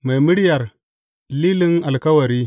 Mai muryar Lilin Alkawari.